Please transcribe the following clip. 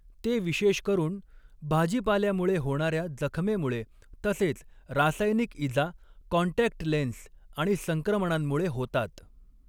ते विशेष करून भाजीपाल्यामुळे होणाऱ्या जखमेमुळे, तसेच रासायनिक इजा, कॉन्टॅक्ट लेन्स आणि संक्रमणांमुळे होतात.